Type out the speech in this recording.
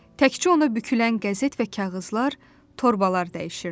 Təkcə ona bükülən qəzet və kağızlar, torbalar dəyişirdi.